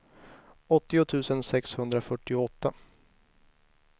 åttio tusen sexhundrafyrtioåtta